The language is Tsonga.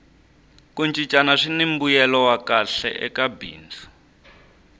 ku cincana swini mbuyelo wa kahle eka bindzu